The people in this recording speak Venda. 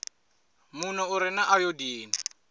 muno u re na ayodini